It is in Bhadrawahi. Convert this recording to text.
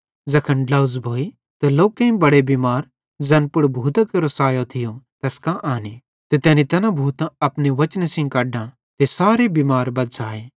ज़ैखन ड्लोझ़ भोई त लोकेईं बड़े बिमार ज़ैन पुड़ भूतां केरो सायो थियो तैस कां आने ते तैनी तैना भूतां अपने वचने सेइं कढां ते सारे बिमार बज़्झ़ाए